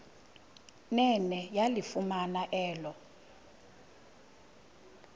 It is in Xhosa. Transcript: nene yalifumana elo